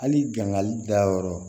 Hali gangali dayɔrɔ